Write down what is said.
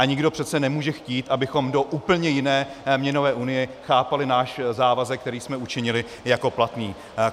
A nikdo přece nemůže chtít, abychom do úplně jiné měnové unie chápali náš závazek, který jsme učinili, jako platný.